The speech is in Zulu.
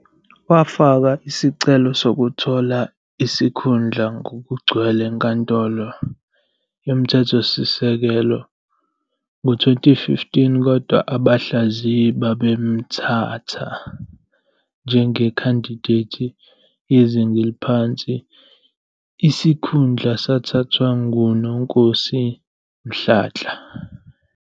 Wafaka isicelo sokuthola isikhundla ngokugcwele eNkantolo yoMthethosisekelo ngo-2015 kodwa abahlaziyi babemthatha njengekhandideti yezinga eliphansi, isikhundla sathathwa nguNonkosi Mhlantla.